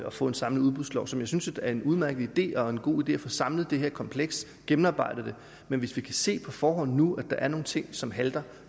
at få en samlet udbudslov jeg synes er en udmærket idé og en god idé at få samlet det her kompleks gennemarbejdet det men hvis vi kan se på forhånd nu at der er nogle ting som halter